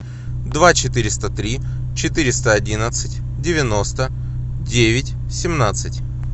два четыреста три четыреста одиннадцать девяносто девять семнадцать